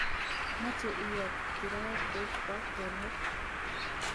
Moche iyo kirait koib kwo tonot